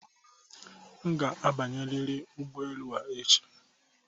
M ga-abanyerịrị ụgbọelu a echi!